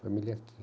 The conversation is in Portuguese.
Família aqui.